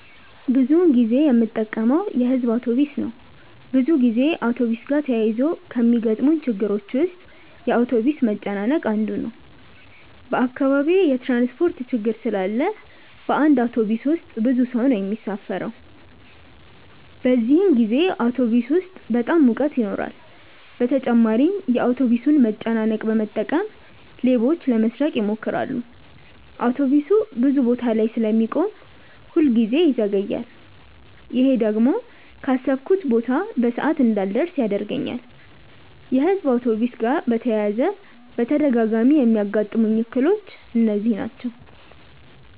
ብዙ ጊዜ የምጠቀመው የሕዝብ አውቶብስ ነው። ብዙ ጊዜ አውቶብስ ጋር ተያይዞ ከሚገጥሙኝ ችግሮች ውስጥ የአውቶብስ መጨናነቅ አንዱ ነው። በአካባቢዬ የትራንስፖርት ችግር ስላለ በአንድ አውቶብስ ውስጥ ብዙ ሰው ነው የሚሳፈረው። በዚህን ጊዜ አውቶብስ ውስጥ በጣም ሙቀት ይኖራል በተጨማሪም የአውቶብሱን መጨናነቅ በመጠቀም ሌቦች ለመስረቅ ይሞክራሉ። አውቶብሱ ብዙ ቦታ ላይ ስለሚቆም ሁል ጊዜ ይዘገያል። ይሄ ደግሞ ካሰብኩበት ቦታ በሰዓት እንዳልደርስ ያደርገኛል። የሕዝብ አውቶብስ ጋር በተያያዘ በተደጋጋሚ የሚያጋጥሙኝ እክሎች እነዚህ ናቸው።